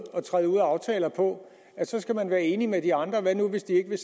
at træde ud af aftaler på at så skal man være enig med de andre og hvad nu hvis de ikke vil